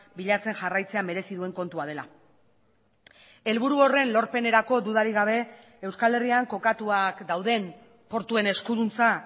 bilatzen jarraitzea merezi duen kontua dela helburu horren lorpenerako dudarik gabe euskal herrian kokatuak dauden portuen eskuduntza